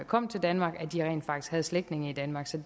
kom til danmark rent faktisk havde slægtninge i danmark så